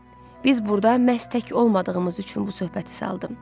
Biz burda məhz tək olmadığımız üçün bu söhbəti saldım.